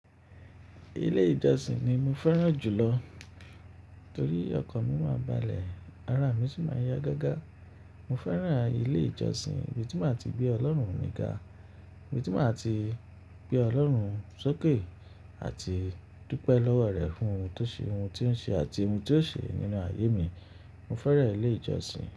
Ilé ìjọsìn ni mo fẹ́ràn jùlọ torí ọkan mi máa balẹ̀, ara mi sì máa yá gágá. Mo fẹ́ràn ilé ìjọsìn ibi tí maa ti gbe Ọlọ́run níga, ibi tí maa ti gbe Ọlọ́run sókè àti dúpẹ́ lọ́wọ́ rẹ̀ fún ohun tó ṣe, ohun tí ó ń ṣe àti ohun tí ó ṣe nínú ayé mi. Mo fẹ́ràn ilé ìjọsìn.